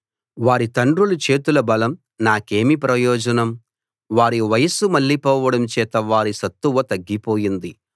వారి తండ్రుల చేతుల బలం నాకేమి ప్రయోజనం వారి వయసు మళ్ళిపోవడం చేత వారి సత్తువతగ్గిపోయింది